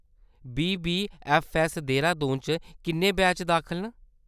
BBFS, Dehradun च किन्ने batch दाखल न ?